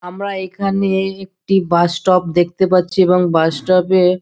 আমরা এইখানে একটি বাস স্টপ দেখতে পারছি। এবং বাস স্টপ -এ --